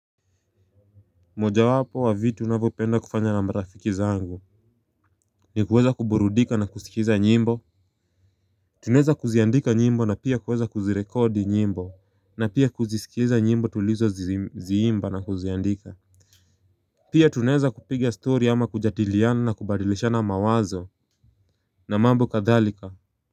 Moja wapo wa vitu navyopenda kufanya na marafiki zangu ni kueza kuburudika na kusikiza nyimbo. Tunaeza kuziandika nyimbo na pia kueza kuzirekodi nyimbo na pia kuzisikiza nyimbo tulizo ziimba na kuziandika. Pia tunaeza kupiga stori ama kujadiliana na kubadilishana mawazo na mambo kadhalika.